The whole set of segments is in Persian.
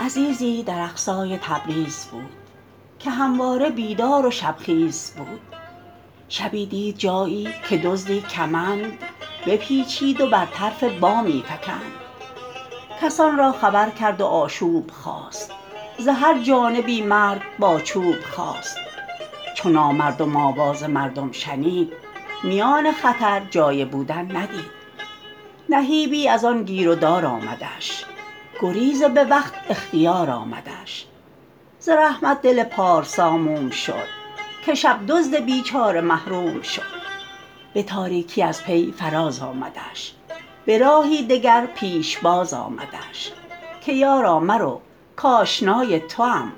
عزیزی در اقصای تبریز بود که همواره بیدار و شب خیز بود شبی دید جایی که دزدی کمند بپیچید و بر طرف بامی فکند کسان را خبر کرد و آشوب خاست ز هر جانبی مرد با چوب خاست چو نامردم آواز مردم شنید میان خطر جای بودن ندید نهیبی از آن گیر و دار آمدش گریز به وقت اختیار آمدش ز رحمت دل پارسا موم شد که شب دزد بیچاره محروم شد به تاریکی از پی فراز آمدش به راهی دگر پیشباز آمدش که یارا مرو کآشنای توام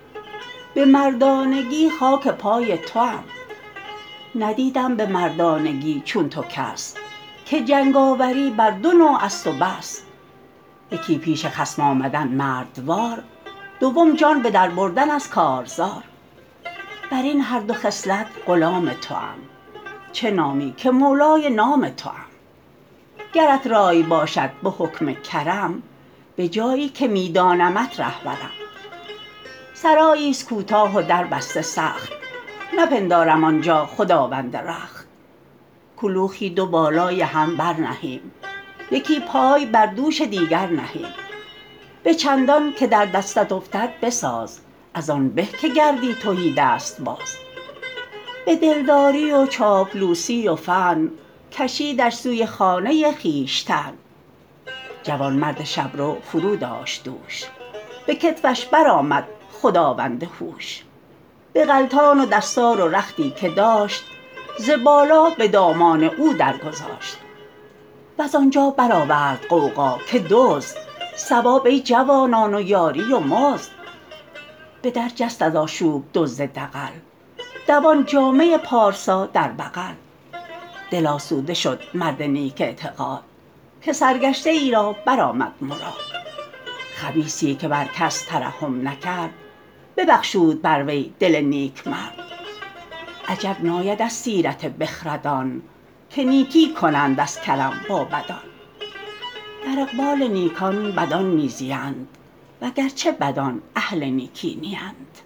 به مردانگی خاک پای توام ندیدم به مردانگی چون تو کس که جنگاوری بر دو نوع است و بس یکی پیش خصم آمدن مردوار دوم جان به در بردن از کارزار بر این هر دو خصلت غلام توام چه نامی که مولای نام توام گرت رای باشد به حکم کرم به جایی که می دانمت ره برم سرایی است کوتاه و در بسته سخت نپندارم آنجا خداوند رخت کلوخی دو بالای هم بر نهیم یکی پای بر دوش دیگر نهیم به چندان که در دستت افتد بساز از آن به که گردی تهیدست باز به دل داری و چاپلوسی و فن کشیدش سوی خانه خویشتن جوانمرد شبرو فرو داشت دوش به کتفش برآمد خداوند هوش بغلطاق و دستار و رختی که داشت ز بالا به دامان او در گذاشت وز آنجا برآورد غوغا که دزد ثواب ای جوانان و یاری و مزد به در جست از آشوب دزد دغل دوان جامه پارسا در بغل دل آسوده شد مرد نیک اعتقاد که سرگشته ای را برآمد مراد خبیثی که بر کس ترحم نکرد ببخشود بر وی دل نیکمرد عجب ناید از سیرت بخردان که نیکی کنند از کرم با بدان در اقبال نیکان بدان می زیند وگرچه بدان اهل نیکی نیند